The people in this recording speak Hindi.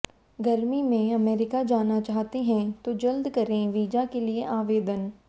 गर्मी में अमेरिका जाना चाहते हैं तो जल्द करें वीजा के लिए आवेदन